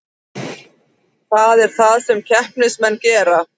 Það er það sem keppnismenn gera